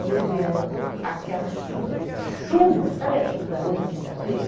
E eu vendo aquela chuva, chuva, sabe a chuva da outra quinta-feira?